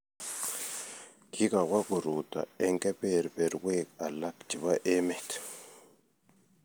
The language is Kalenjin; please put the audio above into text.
kikowo koruto eng keberberwek alak chebo emet.